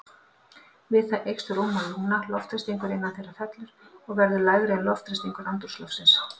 Við það eykst rúmmál lungna, loftþrýstingur innan þeirra fellur og verður lægri en loftþrýstingur andrúmsloftsins.